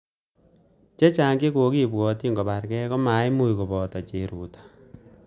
Chechang chekokibwotchin koborgei komaimuch koboto cheruto